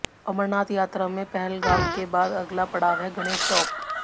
अमरनाथ यात्रा में पहलगाम के बाद अगला पड़ाव है गणेश टॉप